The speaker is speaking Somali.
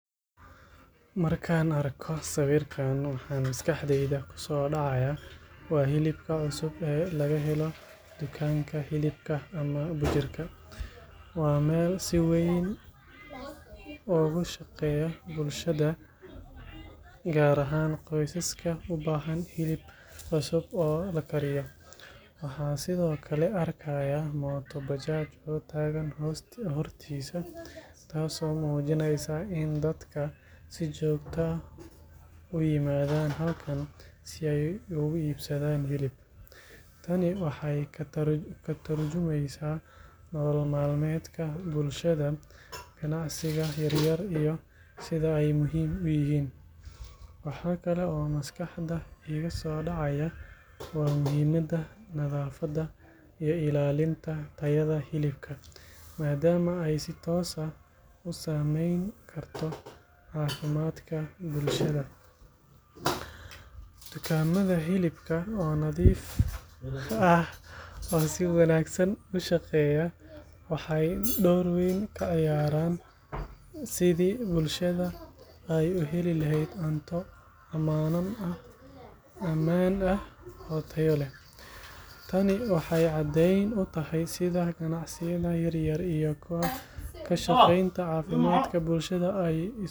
Marka aan arko sawirkan, waxa maskaxdayda kusoo dhacaya waa hilibka cusub ee laga helayo dukaanka hilibka ama butcher-ka. Waa meel si weyn ugu shaqaysa bulshada, gaar ahaan qoysaska u baahan hilib cusub oo la kariyo. Waxaan sidoo kale arkayaa mooto bajaaj oo taagan hortiisa, taasoo muujinaysa in dadku si joogto ah u yimaadaan halkan si ay u iibsadaan hilib. Tani waxay ka tarjumaysaa nolol maalmeedka bulshada, ganacsiga yar-yar iyo sida ay muhiim u yihiin. Waxa kale oo maskaxda iiga soo dhacaya waa muhiimadda nadaafadda iyo ilaalinta tayada hilibka, maadaama ay si toos ah u saameyn karto caafimaadka bulshada. Dukaamada hilibka oo nadiif ah oo si wanaagsan u shaqeeya waxay door weyn ka ciyaaraan sidii bulshada ay u heli lahayd cunto ammaan ah oo tayo leh. Tani waxay caddeyn u tahay sida ganacsiyada yaryar iyo ka shaqeynta caafimaadka bulshada ay isugu xiran yihiin.